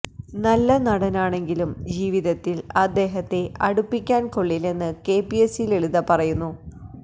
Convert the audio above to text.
നല്ല നടനാണെങ്കിലും ജീവിതത്തില് അദ്ദേഹത്തെ അടുപ്പിക്കാന് കൊള്ളില്ലെന്ന് കെപിഎസി ലളിത പറയുന്നു